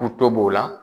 K'u to b'o la